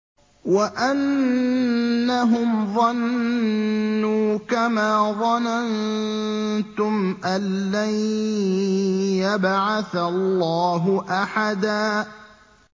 وَأَنَّهُمْ ظَنُّوا كَمَا ظَنَنتُمْ أَن لَّن يَبْعَثَ اللَّهُ أَحَدًا